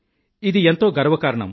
ఇది ఎంతో గర్వ కారణం